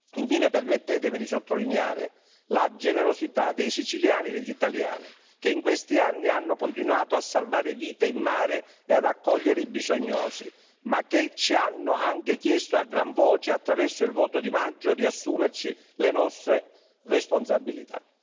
Infine, permettetemi di sottolineare la generosità dei siciliani e degli italiani, che in questi anni hanno continuato a salvare vite in mare e ad accogliere i bisognosi, ma che ci hanno anche chiesto a gran voce, attraverso il voto di maggio, di assumerci le nostre responsabilità.